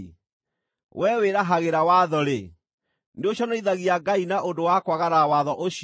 Wee wĩrahagĩra watho-rĩ, nĩũconorithagia Ngai na ũndũ wa kwagarara watho ũcio?